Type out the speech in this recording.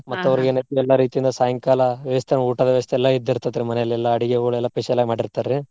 ಎಲ್ಲಾ ರೀತಿಯಿಂದ ಸಾಯಂಕಾಲಾ ವ್ಯವಸ್ಥೆ ಊಟದ ವ್ಯವಸ್ಥೆ ಎಲ್ಲಾ ಇದ್ದಿರ್ತೆತ್ರಿ ಮನೆಯಲ್ಲಿ ಎಲ್ಲಾ ಅಡಿಗೆಗಳೆಲ್ಲ Special ಆಗಿ ಮಾಡಿರ್ತಾರ್ರಿ.